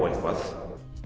eitthvað